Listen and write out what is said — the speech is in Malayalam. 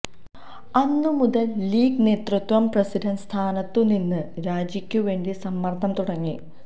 അന്നുമുതല് ലീഗ് നേതൃത്വം പ്രസിഡന്റ് സ്ഥാനത്തു നിന്ന് രാജിക്കുവേണ്ടി സമ്മര്ദ്ദം തുടങ്ങി